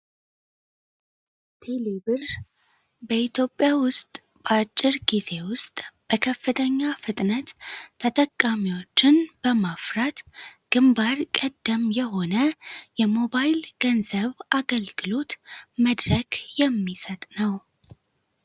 ቴሌ ብር በኢትዮጵያ ውስጥ በአጭር ጊዜ ውስጥ በከፍተኛ ፍጥነት ተጠቃሚዎችን በማፍራት ግንባር ቀደም የሆነ የሞባይል ገንዘብ አገልግሎት መድረክ የሚሰጥ ነው።